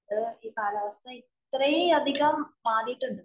അത് ഈ കാലാവസ്ഥ ഇത്രയും അധികം മാറിയിട്ടുണ്ട്.